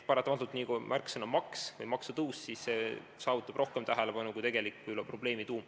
Paratamatult, nii kui märksõna on "maks" või "maksutõus", siis saab see rohkem tähelepanu kui võib-olla probleemi tuum.